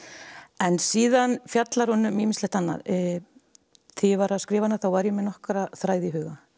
en síðan fjallar hún um ýmislegt annað þegar ég var að skrifa hana þá var ég með nokkra þræði í huga